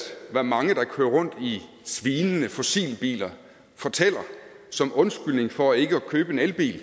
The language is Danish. hvad mange der kører rundt i svinende fossilbiler fortæller som undskyldning for ikke at købe en elbil